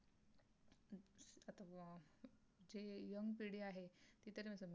जे young पिढी आहे. ती तर